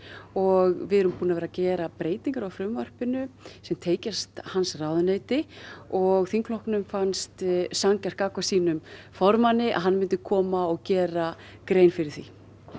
og við erum búin að vera að gera breytingar á frumvarpinu sem tengjast hans ráðuneyti og þingflokknum fannst sanngjarnt gagnvart sínum formanni að hann myndi koma og gera grein fyrir því